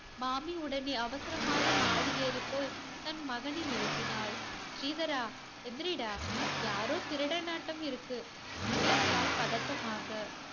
மாமி உடனே அவசரமாக மாடி ஏறிப் போய் தன் மகனை எழுப்பினாள். ஸ்ரீதரா எந்திரிடா. யாரோ திருடனாட்டம் இருக்கு என்றால் பதட்டமாக.